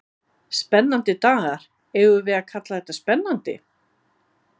Spennandi dagar, eigum við að kalla þetta spennandi?